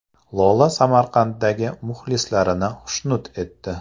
Lola Samarqanddagi muxlislarini xushnud etdi .